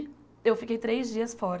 Eu fiquei três dias fora.